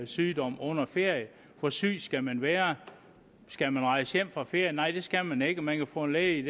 sygdom under ferie hvor syg skal man være skal man rejse hjem fra ferie nej det skal man ikke man kan få en læge i